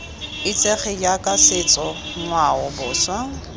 itsege jaaka setso ngwao boswa